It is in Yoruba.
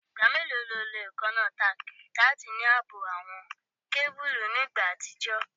Igba melo ni o lo eekanna tack lati ni aabo awọn kebulu ni igba atijọ?